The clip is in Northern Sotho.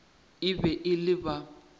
e be e le ba